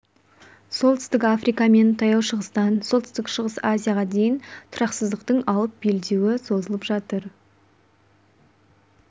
солтүстік африка мен таяу шығыстан солтүстік-шығыс азияға дейін тұрақсыздықтың алып белдеуі созылып жатыр